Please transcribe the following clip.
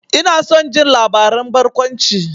Ina son jin labaran barkwanci.